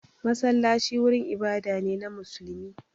Masallaci wurin ibada ne na musulmi.